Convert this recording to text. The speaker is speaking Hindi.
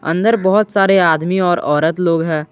अंदर बहुत सारे आदमी और औरत लोग हैं।